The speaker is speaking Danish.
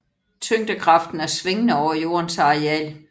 Tyngdekraften er svingende over jordens areal